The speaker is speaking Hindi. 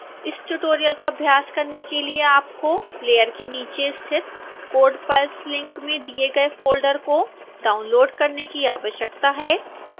इस ट्यूटोरियल का अभ्यास करने के लिए आपको प्लेयर के नीचे स्थित code files लिंक में दिए गए फोल्डर को डाउनलोड़ करने की आवश्यकता है